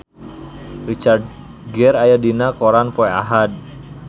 Richard Gere aya dina koran poe Ahad